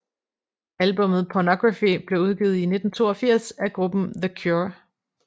Albummet Pornography blev udgivet i 1982 af gruppen The Cure